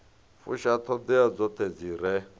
fusha ṱhoḓea dzoṱhe dzi re